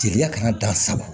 Teliya kana dan sa